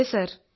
അതെ സർ